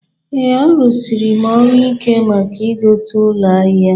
Ee, arụsiri m ọrụ ike maka ịgote ụlọ ahụ